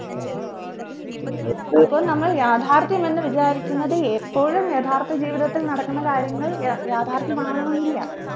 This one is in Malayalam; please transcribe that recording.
അപ്പൊ നമ്മൾ യാഥാർഥ്യമെന്ന് വിചാരിക്കുന്നത് എപ്പോഴും യഥാർത്ഥ ജീവിതത്തിൽ നടക്കുന്ന കാര്യങ്ങൾ യ യാഥാർഥ്യമാവണമെന്നില്ല